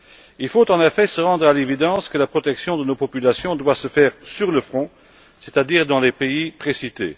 Il faut en effet se rendre à l'évidence la protection de nos populations doit se faire sur le front, c'est à dire dans les pays précités.